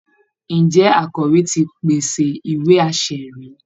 Ǹjẹ́ akọ̀wé ti pèsè ìwé-aṣẹ̀rí